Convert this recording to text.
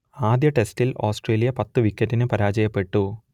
ആദ്യ ടെസ്റ്റിൽ ഓസ്ട്രേലിയ പത്ത് വിക്കറ്റിന് പരാജയപ്പെട്ടു